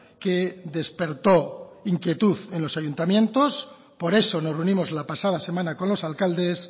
que despertó inquietud en los ayuntamientos por eso nos reunimos la pasada semana con los alcaldes